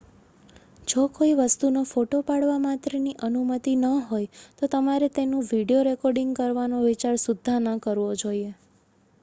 જો કોઈ વસ્તુનો ફોટો પાડવા માત્રની અનુમતિ ન હોય તો તમારે તેનું વિડિયો રેકૉર્ડિંગ કરવાનો વિચાર સુદ્ધાં ન કરવો જોઈએ